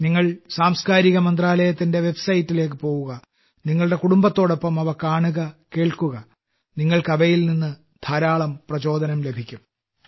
നിങ്ങൾ സാംസ്കാരിക മന്ത്രാലയത്തിന്റെ വൈബ്സൈറ്റിലേക്ക് പോകുക നിങ്ങളുടെ കുടുംബത്തോടൊപ്പം അവ കാണുക കേൾക്കുക നിങ്ങൾക്ക് അവയിൽ നിന്ന് ധാരാളം പ്രചോദനം ലഭിക്കും